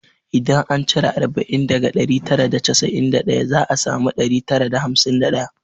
Idan an cire arba'in daga ɗari tara da casa'in da daya za a samu ɗari tara da hamsin da ɗaya